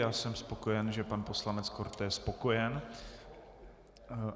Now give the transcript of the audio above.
Já jsem spokojen, že pan poslanec Korte je spokojen.